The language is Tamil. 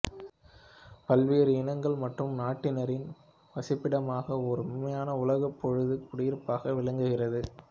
பல்வேறு இனங்கள் மற்றும் நாட்டினரின் வசிப்பிடமாக ஓர் உண்மையான உலகப்பொது குடியிருப்பாக விளங்குகிறது